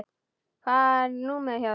Hvað er númerið hjá þér?